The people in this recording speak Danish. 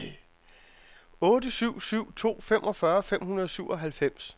otte syv syv to femogfyrre fem hundrede og syvoghalvfems